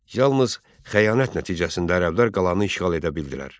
Yalnız xəyanət nəticəsində ərəblər qalanı işğal edə bildilər.